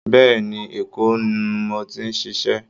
Bẹ́ẹ̀́ẹ̀ ni, Èkó nu mo ti ń ṣiṣẹ́